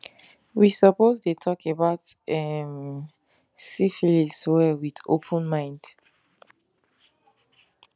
we suppose dey talk about um syphilis well with open mind